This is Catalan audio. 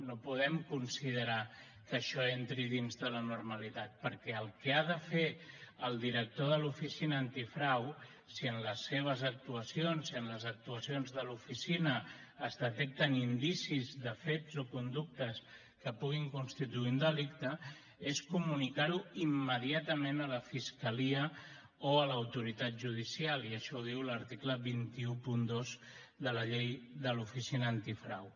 no podem considerar que això entri dins de la normalitat perquè el que ha de fer el director de l’oficina antifrau si en les seves actuacions si en les actuacions de l’oficina es detecten indicis de fets o conductes que puguin constituir un delicte és comunicar ho immediatament a la fiscalia o a l’autoritat judicial i això ho diu l’article dos cents i dotze de la llei de l’oficina antifrau